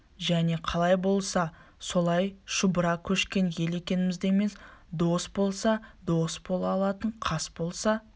және қалай болса солай шұбыра көшкен ел екенімізді емес дос болса дос бола алатын қас болса